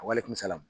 A wale kun bɛ se a la